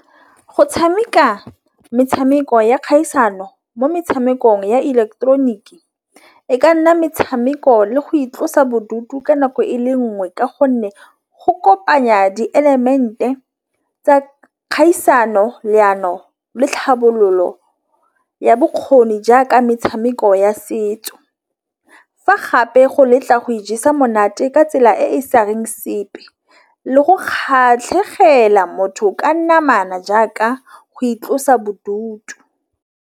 Go tšhameka metšhameko ya kgaisano mo metšhamekong ya ileketeroniki e ka nna metšhameko le go itlosa bodutu ka nako e le nngwe. Ka gonne go kopanya di-element-e tsa kgaisano leano le tlhabololo ya bokgoni jaaka metšhameko ya setso. Fa gape go letla go ijesa monate ka tsela e sareng sepe le go kgatlhegela motho ka nna jaaka go itlosa bodutu.